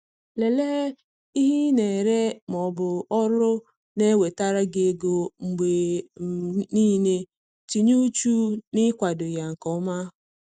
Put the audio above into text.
Lelee ihe ị na-ere ma ọ bụ ọrụ na-ewetara gi ego mgbe um niile, tinye uchu na-ikwado ya nke ọma